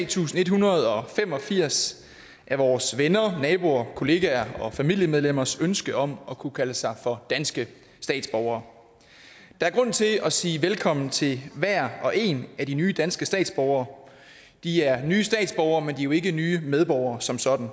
tusind en hundrede og fem og firs af vores venner naboer kollegaer og familiemedlemmers ønske om at kunne kalde sig for danske statsborgere der er grund til at sige velkommen til hver og en af de nye danske statsborgere de er nye statsborgere men de er ikke nye medborgere som sådan